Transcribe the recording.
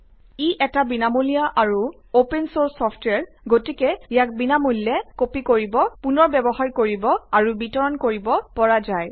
ই এটা বিনামূলীয়া আৰু অপেন চৰ্ছ ছফ্টৱেৰ গতিকে ইয়াক বিনামূল্যে কপি কৰিব পুনৰ ব্যৱহাৰ কৰিব আৰু বিতৰণ কৰিব পৰা যায়